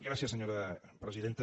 gràcies senyora presidenta